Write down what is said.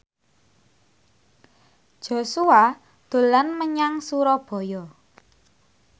Joshua dolan menyang Surabaya